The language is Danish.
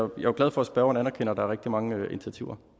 glad for at spørgeren anerkender at der er rigtig mange initiativer